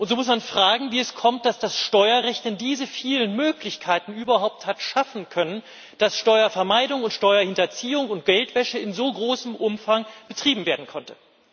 Und so muss man fragen, wie es kommt, dass das Steuerrecht denn diese vielen Möglichkeiten überhaupt hat schaffen können, dass Steuervermeidung und Steuerhinterziehung und Geldwäsche in so großem Umfang betrieben werden konnten.